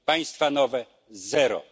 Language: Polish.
państwa nowe zero.